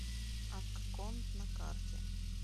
акконд на карте